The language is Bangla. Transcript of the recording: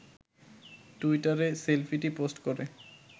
টুইটারে সেলফিটি পোস্ট করে